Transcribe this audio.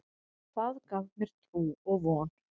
Það gaf mér trú og von.